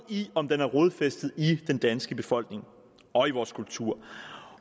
i om den er rodfæstet i den danske befolkning og i vores kultur